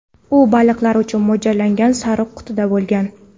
U baliqlar uchun mo‘ljallangan sariq qutida bo‘lgan.